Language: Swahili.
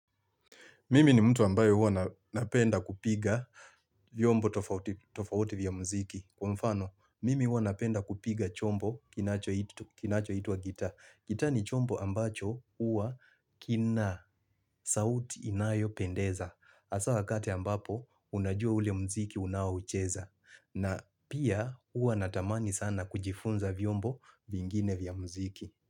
Mimi ni mtu ambayo huwa napenda kupiga vyombo tofauti vya muziki. Kwa mfano, mimi hua napenda kupiga chombo kinachoitwa gitaa. Gitaa ni chombo ambacho huwa kina sauti inayopendeza. Hasa wakati ambapo, unajua ule muziki unaocheza. Na pia huwa natamani sana kujifunza vyombo vingine vya muziki.